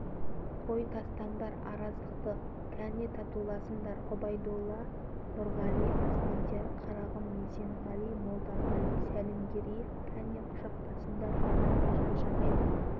мына мешіттің ішінде бұларың қалай қой шырақтарым тастаңдар араздықты бүйтіп бүлінбеңдер бұларың масқара ғой туысқан емессіңдер